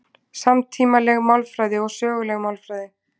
Samtímaleg málfræði og söguleg málfræði